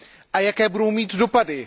a jaké bude mít dopady.